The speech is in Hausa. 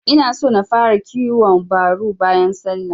Inaso na fara kiwon baru bayan sallah.